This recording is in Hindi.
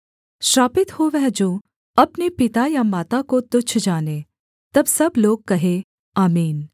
श्रापित हो वह जो अपने पिता या माता को तुच्छ जाने तब सब लोग कहें आमीन